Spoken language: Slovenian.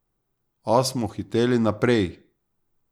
A smo hiteli naprej.